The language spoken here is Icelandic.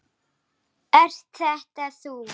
Ert þetta þú?